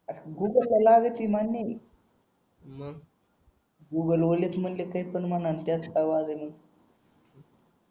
Google Google वाल्याची म्हंटले काहीतर